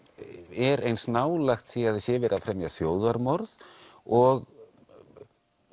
er eins nálægt því að það sé verið að fremja þjóðarmorð og